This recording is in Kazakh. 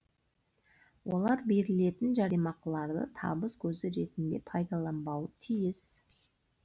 олар берілетін жәрдемақыларды табыс көзі ретінде пайдаланбауы тиіс